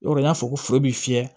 O yɔrɔ n y'a fɔ foro bɛ fiyɛ